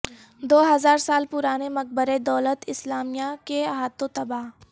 دو ہزار سال پرانے مقبرے دولت اسلامیہ کے ہاتھوں تباہ